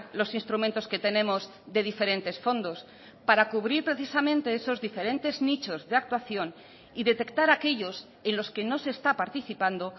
los instrumentos que tenemos de diferentes fondos para cubrir precisamente esos diferentes nichos de actuación y detectar aquellos en los que no se está participando